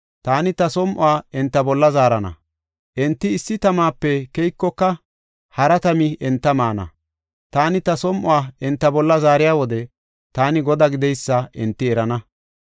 Taani ta som7uwa enta bolla zaarana; enti issi tamape keykoka, hara tami enta maana. Taani ta som7uwa enta bolla zaariya wode taani Godaa gideysa hinte erana.